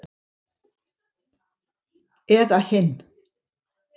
Eða hinn